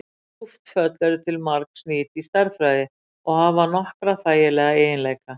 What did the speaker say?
kúpt föll eru til margs nýt í stærðfræði og hafa nokkra þægilega eiginleika